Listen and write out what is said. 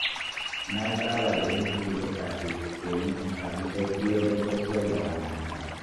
Na saba da yin shiri da safe domin in sami sauƙi wajen tafiyar da rana ta.